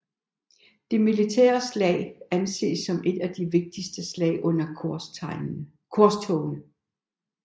Det militære slag anses som et af de vigtigste slag under korstogene